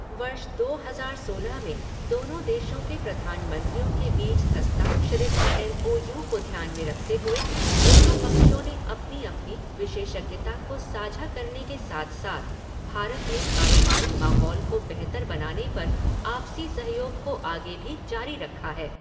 वर्ष दो हज़ार सोलह में दोनों देशों के प्रधानमंत्रियों के बीच हस्ताक्षरित एम ओ यू को ध्यान में रखते हुए दोनों पक्षों ने अपनी अपनी विशेषज्ञता को साझा करने के साथ साथ भारत में कारोबारी माहौल को बेहतर बनाने पर आपसी सहयोग को आगे भी जारी रखा है।